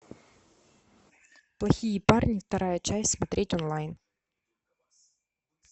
плохие парни вторая часть смотреть онлайн